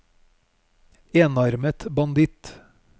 enarmet banditt